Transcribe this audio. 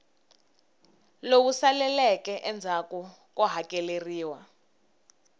lowu saleleke endzhaku ko hakeleriwa